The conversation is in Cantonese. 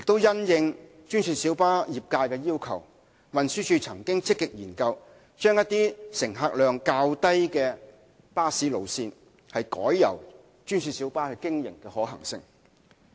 因應專線小巴業界的要求，運輸署亦曾積極研究，將一些乘客量較低的巴士路線改由專線小巴經營的可行性。